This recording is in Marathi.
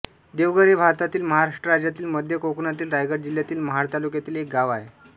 देवघर हे भारतातील महाराष्ट्र राज्यातील मध्य कोकणातील रायगड जिल्ह्यातील महाड तालुक्यातील एक गाव आहे